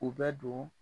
U bɛ don